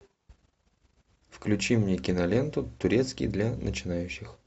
включи мне киноленту турецкий для начинающих